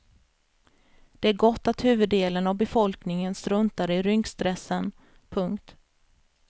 Det är gott att huvuddelen av befolkningen struntar i rynkstressen. punkt